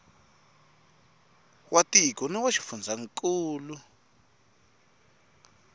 wa tiko na wa xifundzankulu